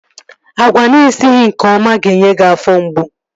Agwa ana esighị nke ọma ga-enye gị afọ mgbu